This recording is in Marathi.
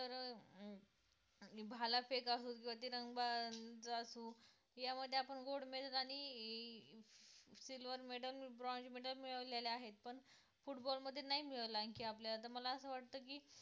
आणि भालाफेक असो किंवा तिरंदाजी असो यामध्ये आपण gold medal, आणि silver medal, bronze medal मिळवलेले आहे पण football मध्ये नाही मिळवल तर मला आणखी असा वाटते की